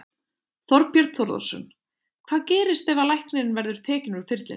Þorbjörn Þórðarson: Hvað gerist ef að læknirinn verður tekinn úr þyrlunni?